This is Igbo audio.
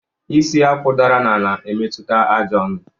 Isi Akwụ dara n'ala, emetụta àjà onu